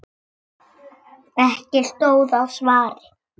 Ekki stóð á svari.